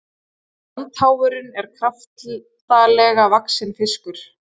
brandháfurinn er kraftalega vaxinn fiskur